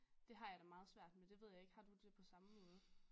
Det har jeg det meget svært med det ved jeg ikke har du det på samme måde?